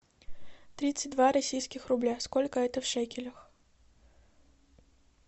тридцать два российских рубля сколько это в шекелях